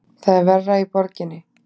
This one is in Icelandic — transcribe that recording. Það er verra í borginni.